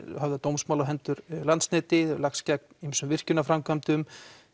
höfðað dómsmál á hendur Landsneti lagst gegn ýmsum virkjunarframkvæmdum